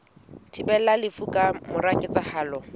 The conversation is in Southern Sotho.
thibelang lefu ka mora ketsahalo